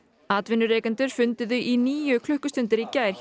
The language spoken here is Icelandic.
atvinnurekendur funduðu í níu klukkustundir í gær